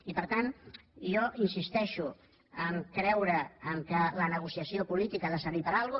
i per tant jo insisteixo a creure que la negociació política ha de servir per alguna cosa